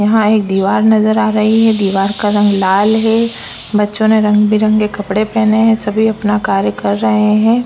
यहाँ एक दिवार नज़र आ रहे है दिवार का रंग लाल है बच्चो ने रंग-बिरंगे कपड़े पहने है सभी अपना कार्य कर रहे है।